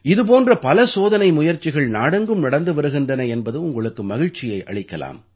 இது போன்ற பல சோதனை முயற்சிகள் நாடெங்கும் நடந்து வருகின்றன என்பது உங்களுக்கு மகிழ்ச்சியை அளிக்கலாம்